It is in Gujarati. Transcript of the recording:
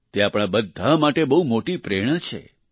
તે આપણા બધા માટે બહુ મોટી પ્રેરણા છે